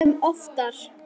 Sem oftar.